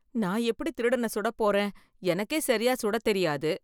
நான் எப்படி திருடன சுட போறேன் , எனக்கே சரியா சுட தெரியாது.